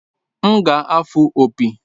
M ga-afụ opi